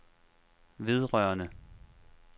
vedrørende